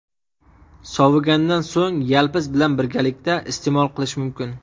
Sovigandan so‘ng yalpiz bilan birgalikda iste’mol qilish mumkin.